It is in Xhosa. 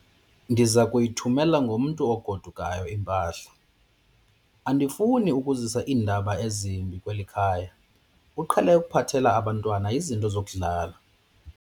Ndiza kuyithumela ngomntu ogodukayo impahla. andifuni ukuzisa iindaba ezimbi kweli khaya, uqhele ukuphathela abantwana izinto zokudlala